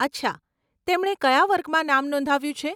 અચ્છા, તેમણે કયા વર્ગમાં નામ નોંધાવ્યું છે?